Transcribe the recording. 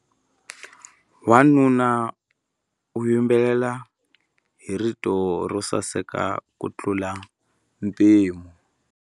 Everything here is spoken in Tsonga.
Wanuna u yimbelela hi rito ro saseka kutlula mpimo.